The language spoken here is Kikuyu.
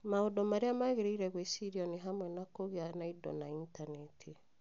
Maũndũ marĩa magĩrĩire gwĩcirio nĩ hamwe na kũgĩa na indo na Intaneti.